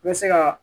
I bɛ se ka